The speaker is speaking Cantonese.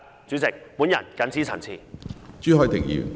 主席，我謹此陳辭。